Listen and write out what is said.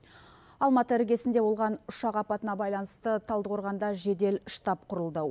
алматы іргесінде болған ұшақ апатына байланысты талдықорғанда жедел штаб құрылды